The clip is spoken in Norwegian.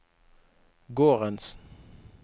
gårdens